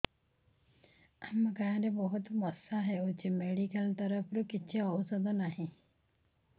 ଆମ ଗାଁ ରେ ବହୁତ ମଶା ହଉଚି ମେଡିକାଲ ତରଫରୁ କିଛି ଔଷଧ ନାହିଁ